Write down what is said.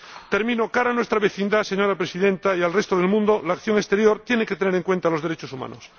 De cara a nuestra vecindad, señora Presidenta, y al resto del mundo, la acción exterior tiene que tener en cuenta los derechos humanos.